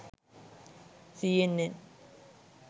cnn